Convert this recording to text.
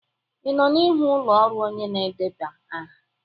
Ị nọ n'ihu ụlọ ọrụ onye na-edeba aha?